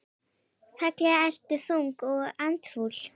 Ferlega ertu þung og andfúl.